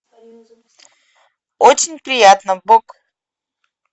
очень приятно бог